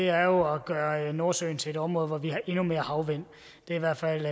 er jo at gøre nordsøen til et område hvor vi har endnu mere havvind det er i hvert fald